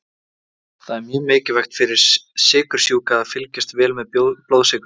Það er mjög mikilvægt fyrir sykursjúka að fylgjast vel með blóðsykrinum.